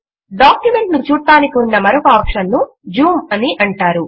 document ను చూడడానికి ఉన్న మరొక ఆప్షన్ ను జూమ్ అని అంటారు